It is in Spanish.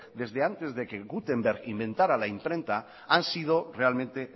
desde antes de que guttenberg inventara la imprenta han sido realmente